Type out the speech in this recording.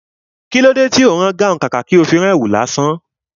Kilo tí ó ń rán gáhùn, kàkà tó fi rán èwù lásán?